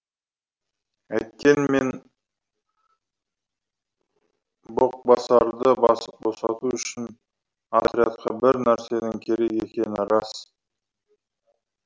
әйткенмен боқбасарды босату үшін отрядқа бір нәрсенің керек екені рас